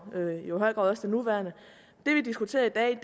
i høj grad også den nuværende det vi diskuterer i dag